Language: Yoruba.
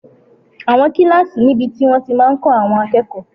Àwọn kílásì níbi tí wọ́n ti máa n kọ́ àwọn akẹ́kọ̀ọ́